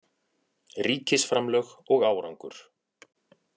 Ríkisframlög og árangur